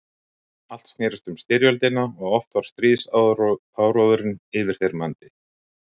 Allt snerist um styrjöldina og oft var stríðsáróðurinn yfirþyrmandi.